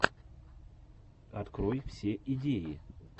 открой все идеи